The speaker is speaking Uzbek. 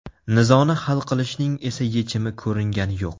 Nizoni hal qilishning esa yechimi ko‘ringani yo‘q.